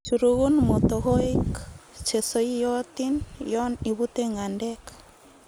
Churugun motokoik chesoiyotin yon ibute ng'endek.